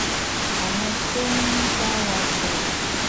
àwọn tó ń bá wa sọrọ